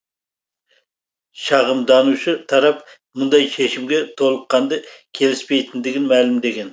шағымданушы тарап мұндай шешімге толыққанды келіспейтіндігін мәлімдеген